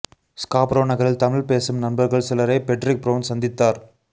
Scarborough நகரில் தமிழ் பேசும் நண்பர்கள் சிலரை பெற்றிக் பிரவுண் சந்தித்தார்